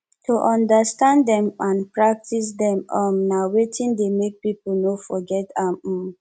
to understand dem and practice dem um na wetin de make pipo no forget am um